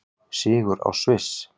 Sigur á Sviss